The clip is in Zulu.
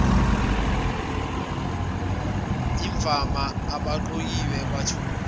imvama abaqokiwe bethulwa